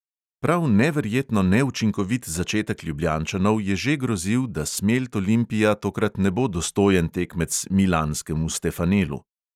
Prav neverjetno neučinkovit začetek ljubljančanov je že grozil, da smelt olimpija tokrat ne bo dostojen tekmec milanskemu stefanelu.